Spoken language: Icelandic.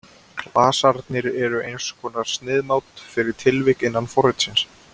Klasarnir eru eins konar sniðmát fyrir tilvik innan forritsins.